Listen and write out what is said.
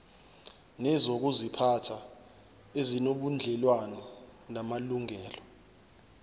nezokuziphatha ezinobudlelwano namalungelo